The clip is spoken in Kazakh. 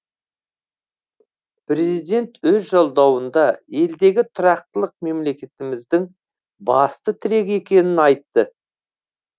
президент өз жолдауында елдегі тұрақтылық мемлекетіміздің басты тірегі екенін айтты